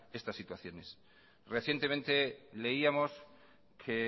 estas situaciones recientemente leíamos que